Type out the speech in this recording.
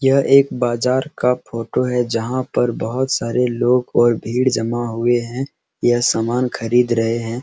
यह एक बाजार का फोटो है जहाँ पर बहुत सारे लोग और भीड़ जमा हुए है ये सामान खरीद रहे है।